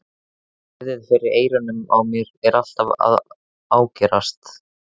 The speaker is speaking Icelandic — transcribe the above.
Suðið fyrir eyrunum á mér er alltaf að ágerast.